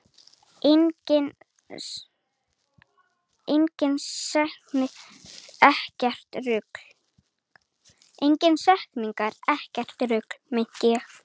Engar snertingar, ekkert rugl!